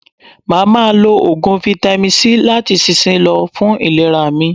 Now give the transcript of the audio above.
Mà á ma lo Ògùn fáítámì C láti ìsinsìnyí lọ, fún ìlera mi.